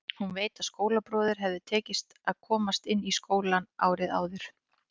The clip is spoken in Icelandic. Hún veit að skólabróður hafði tekist að komast inn í skólann árið áður.